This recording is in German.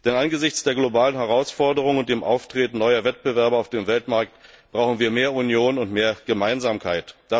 Denn angesichts der globalen Herausforderungen und dem Auftreten neuer Wettbewerber auf dem Weltmarkt brauchen wir mehr Union und mehr Gemeinsamkeit.